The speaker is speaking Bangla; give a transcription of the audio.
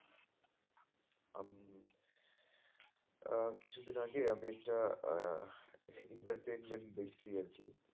আহ কিছুদিন আগে আমি একটা আহ entertainment দেখেছি আরকি